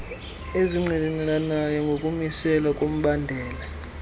ezingqinelanayo nokumiselwa kombandela